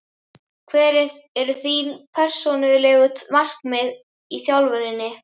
Hver eru þín persónulegu markmið í þjálfuninni?